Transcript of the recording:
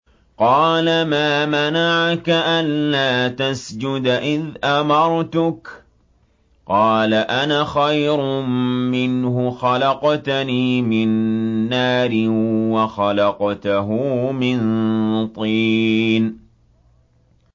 قَالَ مَا مَنَعَكَ أَلَّا تَسْجُدَ إِذْ أَمَرْتُكَ ۖ قَالَ أَنَا خَيْرٌ مِّنْهُ خَلَقْتَنِي مِن نَّارٍ وَخَلَقْتَهُ مِن طِينٍ